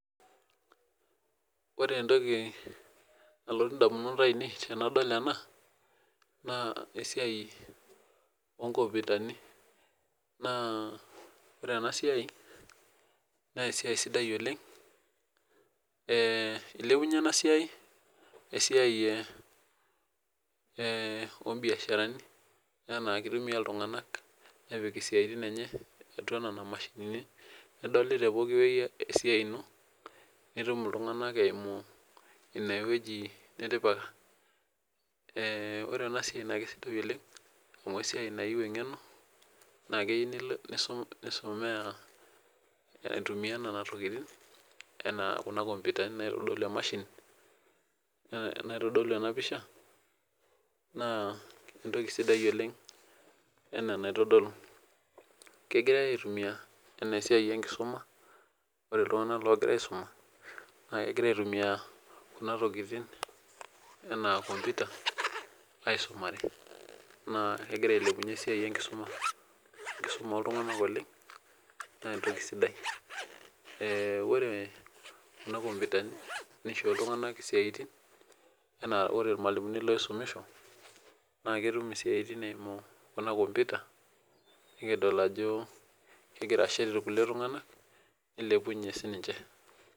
Ore entoki nalotu ndamunot aainei tenedol ena naa esiaai oo nkompiutani. Naa ore ena siaai naa esiaai sidai oleng, ee ilepunye ena siaai esiaai ee oombiasharani enaa kitumiya iltung'ana nepik isaaitin enye atua Nena mashinini nedoli tepooki wueji esiaai ino iltung'ana eimu enewueji nitipika. Ee ore ena siaai naa kisidai oleng amuu esiaai nayieu eng'eno naa keyieu nisomea aitumiya nena tokitin enaa kuna kompyutani naitodolu ena pisha naa entoki sidai oleng enaa enaitodolu. kegirai aaitumiya enaa esiaai enkisuma, ore iltung'ana oigira aisuma, naa kegira aaitumia kunatokitin enaa computer aisumare, naa kegira ailepunyie esiaai enkisuma, enkisuma oo ltung'anak naa entoki sidai. Ore kuna nkoputani naa eishoo iltung'ana isiaitin enaa ore irmalimuni ooisumisho naa ketum isiaitin eimu ena e computer nikidol ajo kegira ashet irkulikae tung'ana nilepunye sii ninche.